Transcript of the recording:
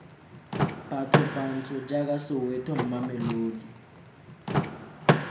batho bantsho jaaka soweto mamelodi